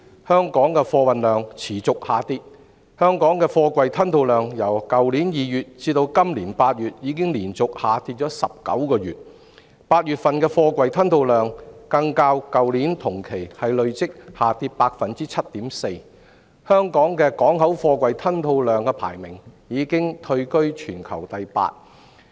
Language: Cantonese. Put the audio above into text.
香港的貨運量持續下跌，貨櫃吞吐量由去年2月至今年8月已連續下跌19個月 ，8 月份的貨櫃吞吐量更較去年同期累跌 7.4%， 香港的港口貨櫃吞吐量排名已退居至全球第八位。